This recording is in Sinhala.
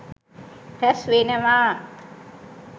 රැස් වෙනවා.